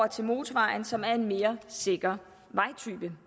til motorvejen som er en mere sikker vejtype